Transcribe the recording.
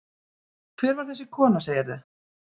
Hver var þessi kona, segirðu?